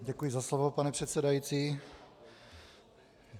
Děkuji za slovo, pane předsedající.